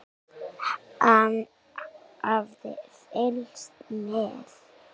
Hann hafði fylgst með